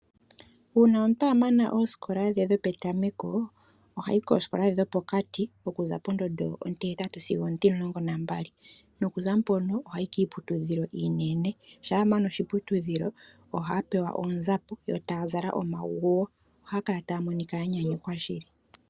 Uuna omuntu a mana oosikola dhe dhopetameko, ohayi koosikola ndhi dhopokati, okuza pondondo ontihetatu sigo ontimulongo nambali nokuza mponobohayi kiiputudhilo iinene, shampa a mana oshiputudhilo ohaya pewa oonzapo, yo taya zala omaguwo, ohaya kala taya monika ya nyanyukwa shili.